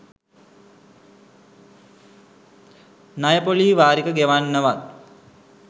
ණය ‍පොලී වාරික ගෙවන්නවත්.